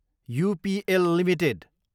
UPL Ltd